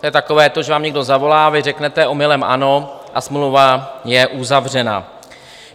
To je takové to, že vám někdo zavolá, vy řeknete omylem ano a smlouva je uzavřena.